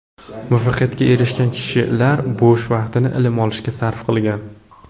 Muvaffaqiyatga erishgan kishilar bo‘sh vaqtini ilm olishga sarf qilgan.